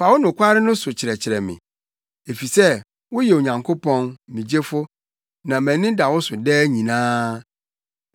Fa wo nokware no so kyerɛkyerɛ me, efisɛ woyɛ Onyankopɔn, me Gyefo, na mʼani da wo so daa nyinaa.